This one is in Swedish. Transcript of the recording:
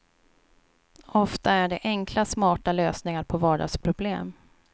Ofta är det enkla, smarta lösningar på vardagsproblem.